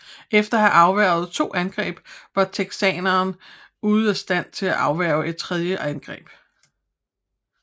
Efter at have afværget to angreb var texanerne ude af stand til at afværge et tredje angreb